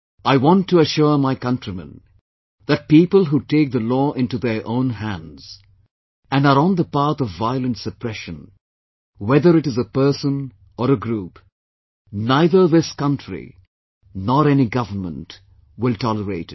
I want to assure my countrymen that people who take the law into their own handsand are on the path of violent suppression whether it is a person or a group neither this country nor any government will tolerate it